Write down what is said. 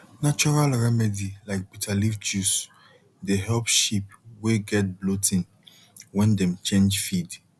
natural remedy like bitter leaf juice dey help sheep wey get bloating when dem change feed